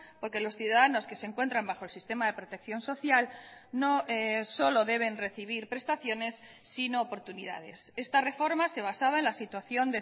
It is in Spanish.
porque los ciudadanos que se encuentran bajo el sistema de protección social no solo deben recibir prestaciones sino oportunidades esta reforma se basaba en la situación